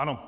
Ano.